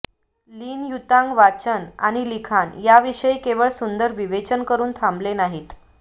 लिन Yutang वाचन आणि लिखाण यांविषयी केवळ सुंदर विवेचन करून थांबले नाहीत